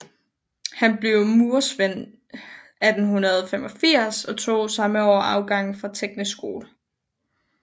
Han blev murersvend 1885 og tog samme år afgang fra Teknisk Skole